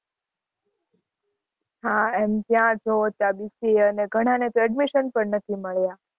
હાં એમ જ્યાં જોઓ ત્યાં BCA અને ઘણાં ને તો admission પણ નથી મળ્યા.